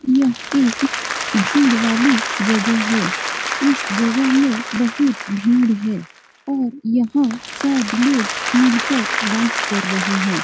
यह एक भीड़ वाली जगह है इस जगह में बहुत भीड़ है और यहाँ सब लोग मिल कर डांस कर रहे हैं।